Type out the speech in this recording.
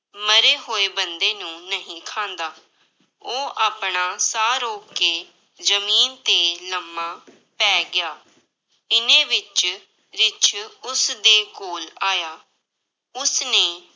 ਮਰੇ ਹੋਏ ਬੰਦੇ ਨੂੰ ਨਹੀਂ ਖਾਂਦਾ, ਉਹ ਆਪਣਾ ਸਾਹ ਰੋਕ ਕੇ ਜ਼ਮੀਨ ਤੇ ਲੰਮਾ ਪੈ ਗਿਆ, ਇੰਨੇ ਵਿੱਚ ਰਿੱਛ ਉਸਦੇ ਕੋਲ ਆਇਆ, ਉਸਨੇ